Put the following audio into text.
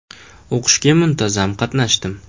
O‘qishga muntazam qatnashdim.